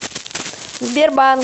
сбербанк